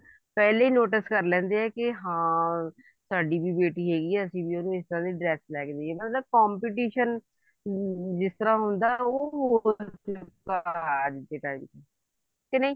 ਪਹਿਲਾਂ ਹੀ notice ਕਰ ਲੈਂਦੇ ਨੇ ਵੀ ਹਾਂ ਸਾਡੀ ਵੀ ਬੇਟੀ ਹੈਗੀ ਆ ਅਸੀਂ ਵੀ ਇੰਨੀ ਸੋਹਣੀ dress ਲੈਕੇ ਦੇਣੀ ਆ ਮਤਲਬ competition ਜਿਸ ਤਰ੍ਹਾਂ ਹੁੰਦਾ ਉਹ ਹੋਗਿਆ ਅੱਜ ਦੇ time ਚ ਕੇ ਨਹੀਂ